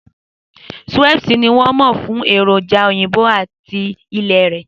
Schweppes ni wọ́n mọ̀ fún èròjà òyìnbó ata ilẹ̀ rẹ̀.